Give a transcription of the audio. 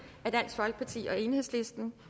af dansk folkeparti og enhedslisten